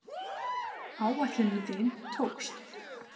Áætlunin þín tókst.